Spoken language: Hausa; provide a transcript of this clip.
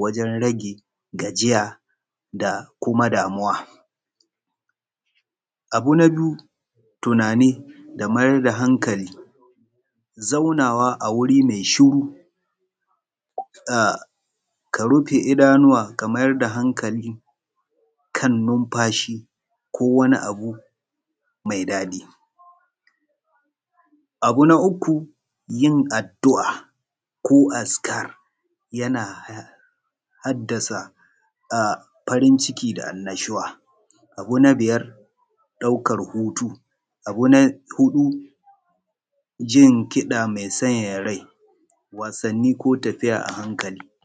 wajen rage gajiya da kuma damuwa. Abu na biyu tunani da kuma mayar da hankali zaunawa a wuri mai shiru, ka rufe idanuwa ka mayar da hankali kan numfashi ko wani abu mai daɗi. Abu na uku yin addu'a ko azkar yana haddasa farin ciki da annashuwa. Abu na biyar daukar hutu. Abu na huɗu jin kida mai sanyaya rai wasanni ko tafiya a hankali.